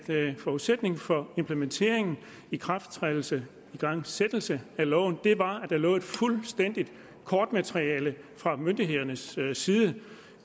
forudsætning for implementering ikrafttrædelse og igangsættelse af loven var at der lå et fuldstændigt kortmateriale fra myndighedernes side der